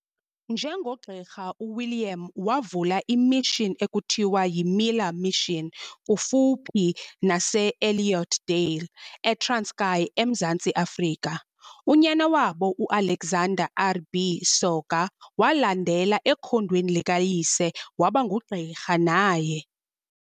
Njengogqirha u-William wavula i"mission" ekuthiwa yi"Miller mission" kufuphi nase Elliotdale, eTranskei eMzantsi Afrika. Unyana wabo uAlexander RB Soga walandela ekhondweni likayise waba ngugqirha naye.